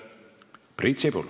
Priit Sibul.